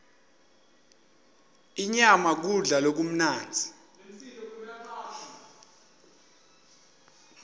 inyama kudla lokumnandzi